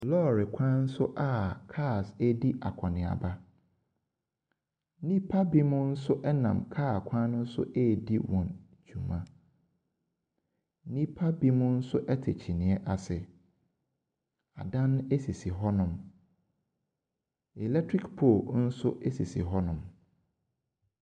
Lɔɔre kwan so a cars ɛredi akɔneaba, nnipa binom nso ɛnam kaa kwan no nso ɛredi wɔn dwuma. Nnipa binom nso ɛte kyineɛ ase. Adan ɛsisi hɔnom. Electric pole nso ɛsisi hɔnom.